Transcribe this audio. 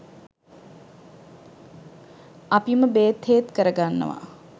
අපිම බේත් හේත් කරගන්නවා.